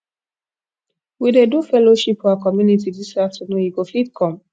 we dey do fellowship for our community dis afternoon you go fit come